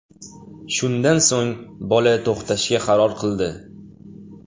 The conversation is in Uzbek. Shundan so‘ng, bola to‘xtashga qaror qildi.